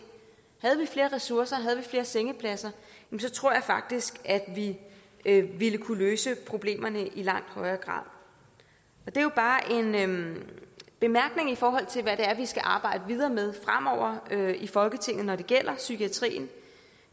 havde vi flere ressourcer havde vi flere sengepladser tror jeg faktisk at vi ville kunne løse problemerne i langt højere grad det er bare en bemærkning i forhold til hvad vi skal arbejde videre med fremover i folketinget når det gælder psykiatrien